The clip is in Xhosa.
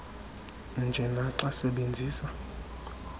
nje naxa sebenzisa